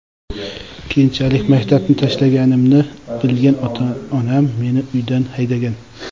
Keyinchalik maktabni tashlaganimni bilgan ota-onam meni uydan haydagan.